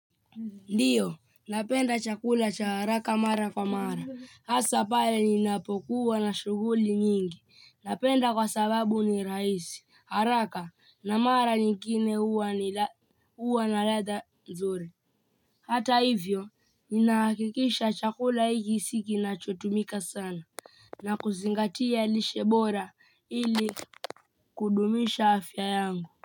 Ndiyo, napenda chakula cha haraka mara kwa mara, hasa pale ninapokuwa na shughuli nyingi, napenda kwa sababu ni rahisi, haraka, na mara nyingine huwa na ladha nzuri. Hata hivyo, ninahakikisha chakula hiki si kinachotumika sana, na kuzingatia lishe bora ili kudumisha afya yangu.